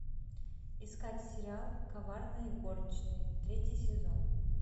искать сериал коварные горничные третий сезон